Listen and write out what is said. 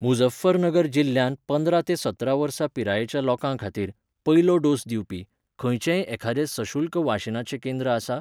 मुझफ्फरनगर जिल्ल्यांत पंदरा ते सतरा वर्सां पिरायेच्या लोकां खातीर, पयलो डोस दिवपी, खंयचेंय एखाद्रें सशुल्क वाशिनाचें केंद्रआसा?